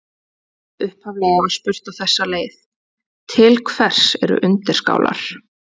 Upphaflega var spurt á þessa leið: Til hvers eru undirskálar?